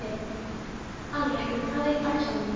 Alrekur, hver er dagsetningin í dag?